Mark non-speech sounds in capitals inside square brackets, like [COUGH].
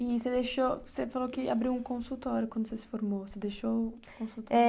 E você deixou, você falou que abriu um consultório quando você se formou, você. [UNINTELLIGIBLE] Eh...